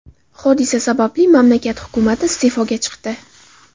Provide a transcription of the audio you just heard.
Hodisa sababli mamlakat hukumati iste’foga chiqdi .